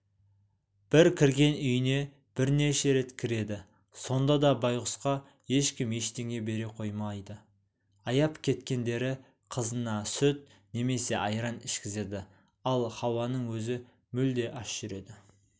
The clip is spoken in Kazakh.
бір кірген үйіне бірнеше рет кіреді сонда да байғұсқа ешкім ештеңе бере қоймайды аяп кеткендері қызына сүт немесе айран ішкізеді ал хауаның өзі мүлде аш жүреді